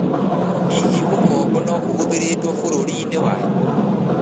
Hihi ũkombo no ũhũthĩrĩtwo bũrũri-inĩ wanyu?